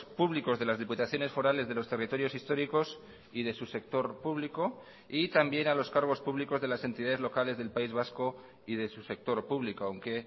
públicos de las diputaciones forales de los territorios históricos y de su sector público y también a los cargos públicos de las entidades locales del país vasco y de su sector público aunque